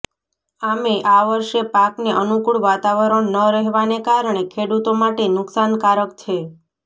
આમેય આ વર્ષે પાકને અનુકૂળ વાતાવરણ ન રહેવાને કારણે ખેડૂતો માટે નુકસાનકારક છે